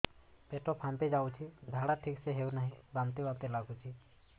ପେଟ ଫାମ୍ପି ଯାଉଛି ଝାଡା ଠିକ ସେ ହଉନାହିଁ ବାନ୍ତି ବାନ୍ତି ଲଗୁଛି